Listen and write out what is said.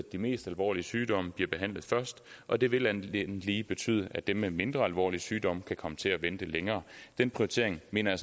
de mest alvorlige sygdomme bliver behandlet først og det vil alt andet lige betyde at dem med mindre alvorlige sygdomme kan komme til at vente længere den prioritering mener